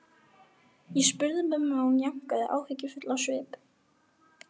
Ég spurði mömmu og hún jánkaði, áhyggjufull á svip.